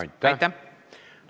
Aitäh!